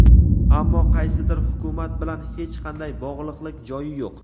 ammo qaysidir hukumat bilan hech qanday bog‘liqlik joyi yo‘q.